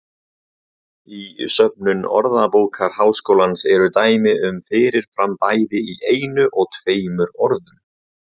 Í söfnum Orðabókar Háskólans eru dæmi um fyrir fram bæði í einu og tveimur orðum.